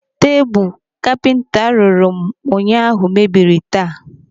Tebụl kapinta rụrụ m ụnyaahụ mebiri taa.